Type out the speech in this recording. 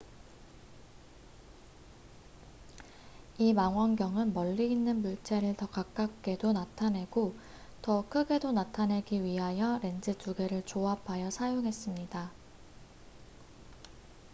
이 망원경은 멀리 있는 물체를 더 가깝게도 나타내고 더 크게도 나타내기 위하여 렌즈 2개를 조합하여 사용했습니다